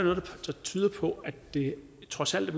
tyder på at det trods alt